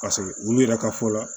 olu yɛrɛ ka fɔ la